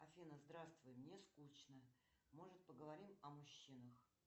афина здравствуй мне скучно может поговорим о мужчинах